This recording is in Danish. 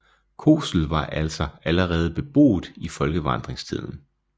Kosel var altså allerede beboet i folkevandringstiden